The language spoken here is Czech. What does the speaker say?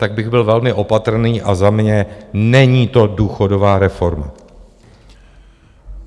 Tak bych byl velmi opatrný a za mě - není to důchodová reforma.